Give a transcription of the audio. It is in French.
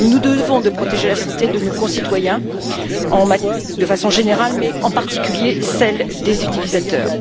Nous nous devons de protéger la santé de nos concitoyens de façon générale, mais et en particulier celle des utilisateurs.